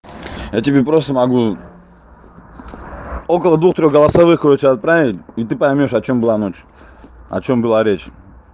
я тебе просто могу около двух трёх голосовых лучше отправить и ты поймёшь о чём была ночь о чём была речь